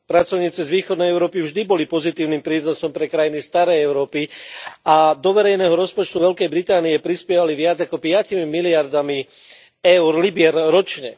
Pracovníci z východnej Európy vždy boli pozitívnym prínosom pre krajiny starej Európy a do verejného rozpočtu Veľkej Británie prispievali viac ako piatimi miliardami eur libier ročne.